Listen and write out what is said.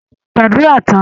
Ṣé ẹ ti gbàdúrà tán?